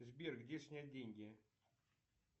сбер где снять деньги